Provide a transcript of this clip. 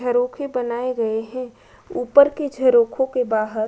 घरों के बनाए गए हैं। ऊपर के झरोखों के बाहर --